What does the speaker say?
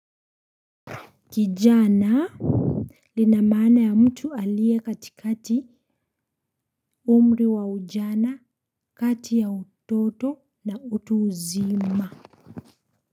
Kijana lina maana ya mtu alie katikati umri wa ujana kati ya utoto na utu uzima.